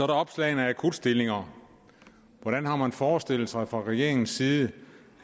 der opslag af akutstillinger hvordan har man forestillet sig fra regeringens side